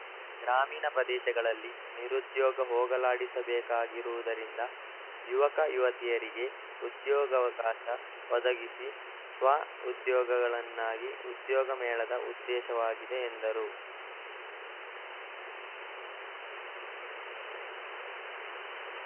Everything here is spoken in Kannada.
ಗ್ರಾಮೀಣ ಪ್ರದೇಶಗಳಲ್ಲಿ ನಿರುದ್ಯೋಗ ಹೋಗಲಾಡಿಸಬೇಕಾಗಿರುವುದರಿಂದ ಯುವಕ ಯುವತಿಯರಿಗೆ ಉದ್ಯೋಗಾವಕಾಶ ಒದಗಿಸಿ ಸ್ವಉದ್ಯೋಗಗಳನ್ನಾಗಿ ಉದ್ಯೋಗ ಮೇಳದ ಉದ್ದೇಶವಾಗಿದೆ ಎಂದರು